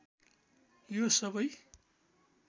यो सबै